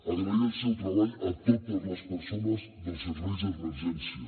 agrair el seu treball a totes les persones dels serveis d’emergència